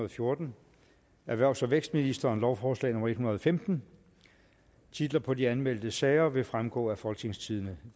og fjorten erhvervs og vækstministeren lovforslag nummer l en hundrede og femten titlerne på de anmeldte sager vil fremgå af folketingstidende